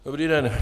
Dobrý den.